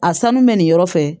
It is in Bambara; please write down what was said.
A sanu bɛ nin yɔrɔ fɛ